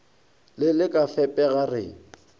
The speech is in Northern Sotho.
le le ka fepega re